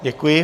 Děkuji.